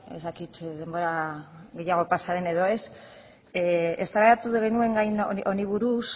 ez dakit denbora gehiago pasa den edo ez eztabaidatu genuen gai honi buruz